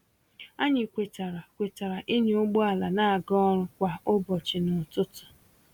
Anyị kwetara kwetara ịnya ụgbọ ala na-aga ọrụ kwa ụbọchị n'ụtụtụ.